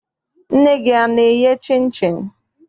Nne gị ana-eye chịnchịn?